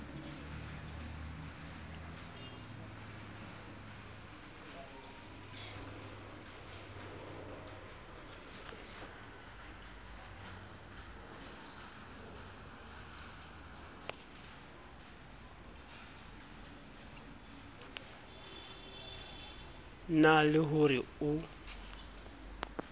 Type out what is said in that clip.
na le ho re o